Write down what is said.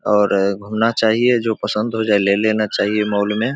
और घुमना चाहिए जो पसंद हो जाए ले लेना चाहिए मॉल में।